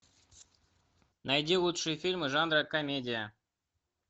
найди лучшие фильмы жанра комедия